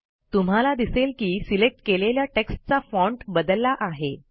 तुम्हाला दिसेल की सिलेक्ट केलेल्या टेक्स्टचा फाँट बदलला आहे